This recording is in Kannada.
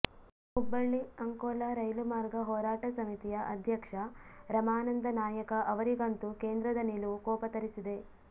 ಹುಬ್ಬಳ್ಳಿ ಅಂಕೋಲಾ ರೈಲು ಮಾರ್ಗ ಹೋರಾಟ ಸಮಿತಿಯ ಅಧ್ಯಕ್ಷ ರಮಾನಂದ ನಾಯಕ ಅವರಿಗಂತೂ ಕೇಂದ್ರದ ನಿಲುವು ಕೋಪ ತರಿಸಿದೆ